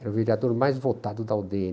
Era o vereador mais votado da u dê ene